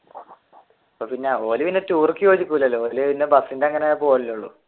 or പിന്നെ ടൂറിക്ക് ബസിന്റെ അങ്ങനെ പോവുകയല്ലേയുള്ളു